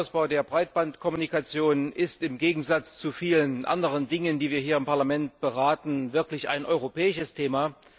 Der Ausbau der Breitbandkommunikation ist im Gegensatz zu vielen anderen Dingen, die wir hier im Parlament beraten, wirklich ein europäisches Thema.